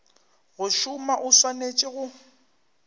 go šoma o swanetše go